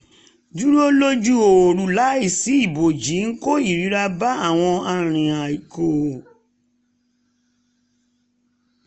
dúró lójú ooru láìsí ibòji ń kó ìrora bá àwọn arìnàkò